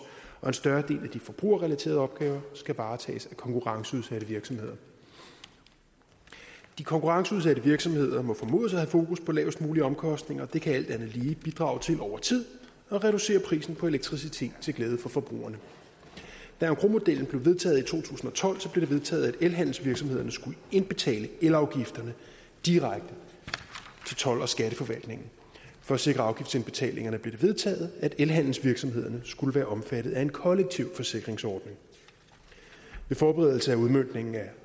og en større del af de forbrugerrelaterede opgaver skal varetages af konkurrenceudsatte virksomheder de konkurrenceudsatte virksomheder må formodes at have fokus på lavest mulige omkostninger og det kan alt andet lige bidrage til over tid at reducere prisen på elektricitet til glæde for forbrugerne da engrosmodellen blev vedtaget i to tusind og tolv blev det vedtaget at elhandelsvirksomhederne skulle indbetale elafgifterne direkte til told og skatteforvaltningen for at sikre afgiftsindbetalingerne blev det vedtaget at elhandelsvirksomhederne skulle være omfattet af en kollektiv forsikringsordning ved forberedelse af udmøntningen af